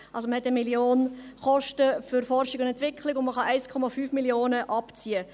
Man hat also bei Forschung und Entwicklung beispielsweise 1 Mio. Franken Kosten und kann 1,5 Mio. Franken abziehen.